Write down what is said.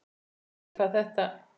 Ég vissi ekkert hvað þetta